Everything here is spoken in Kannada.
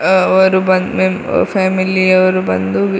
ಅವರು ಬಂದ್ ಮ್ ಫ್ಯಾಮಿಲಿ ಅವರು ಬಂದು ವಿ --